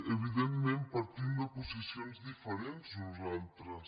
evidentment partim de posicions diferents nosaltres